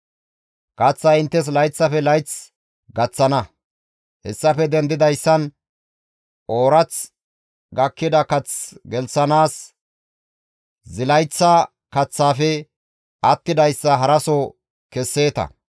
Kaththay inttes layththafe layth gaththana; hessafe dendidayssan oorath gakkida kath gelththanaas zilayththa kaththaafe attidayssa haraso kesseeta.